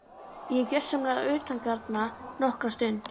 Ég er gjörsamlega utangarna nokkra stund.